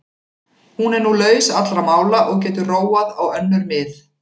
Hún er nú laus allra mála og getur róað á önnur mið.